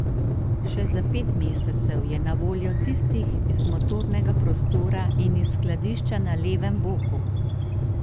Še za pet mesecev je na voljo tistih iz motornega prostora in iz skladišča na levem boku.